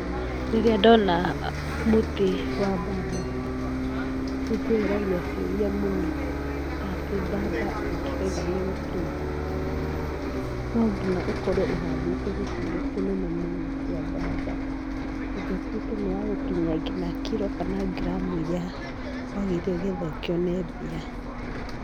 Rĩrĩa ndona mũtĩ wa bamba nĩndĩyũragia ciũria mũno. Ta atĩ bamba ĩngĩkauga nĩ gũkinya, no nginya ũkorwo ũhandĩte gĩcigo kĩnene mũno kĩa bamba nĩ getha ĩtuĩke nĩ ya gũkinyia nginya kiro kana ngiramu iria wagĩrĩire nĩ getha ũkĩone mbia.